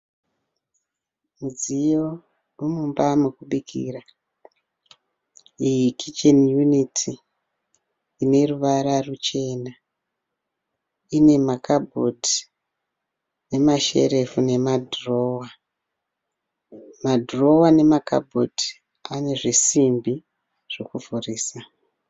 Mudziyo wemumba mekubikira, Kicheni yuniti. Ine ruvara ruchena, ina ma kabhodhi nema sherefu nema dhirowa. Madhirowa nema kabhodhi ane zvisimbi zveku vhurisa .